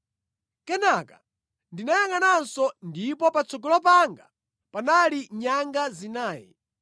Kenaka ndinayangʼananso, ndipo patsogolo panga panali nyanga zinayi.